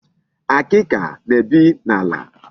Akịka na-ebi n'ala.